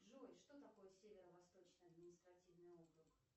джой что такое северо восточный административный округ